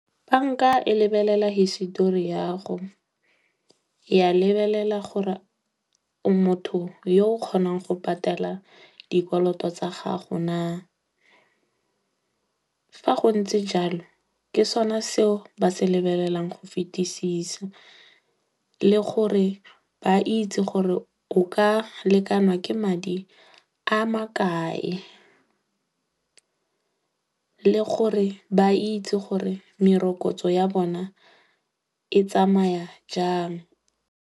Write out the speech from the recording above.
Banka e lebelela hisetori ya 'go, ya lebelela gore o motho yo o kgonang go patala dikoloto tsa gago naa. Fa go ntse jalo, ke sone seo ba se lebelelang go fetisisa. Le gore ba itse gore o ka lekanwa ke madi a makae. Le gore ba itse gore merokotso ya bona e tsamaya jang.